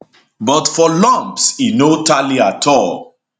but for lumps e no tally at all